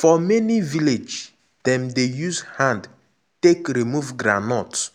for many village dem dey use hand take remove groundnut